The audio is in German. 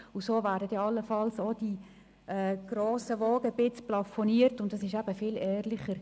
So würden dann allenfalls auch die grossen Wogen etwas geglättet, und es ist viel ehrlicher.